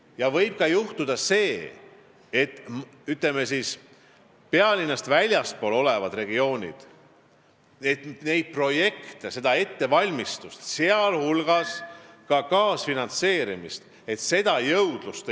Ja võib ka juhtuda, et pealinnast väljaspool olevates regioonides ei ole jõudlust vedada ega kaasfinantseerida projekte ja nende ettevalmistust.